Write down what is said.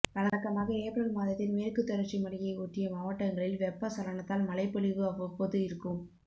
வழக்கமாக ஏப்ரல் மாதத்தில் மேற்கு தொடர்ச்சி மலையை ஒட்டிய மாவட்டங்களில் வெப்பசலனத்தால் மழைப்பொழிவு அவ்வப்போது இருக்கும்